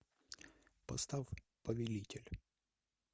поставь повелитель